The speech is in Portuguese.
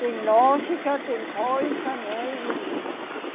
Tem lógica, tem coisa, né? E, e